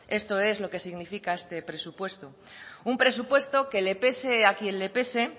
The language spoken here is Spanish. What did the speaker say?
esto es lo que significa este presupuesto un presupuesto que le pese a quien le pese